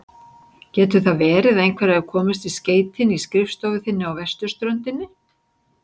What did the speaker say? Getur það verið að einhver hafi komist í skeytin í skrifstofu þinni á vesturströndinni?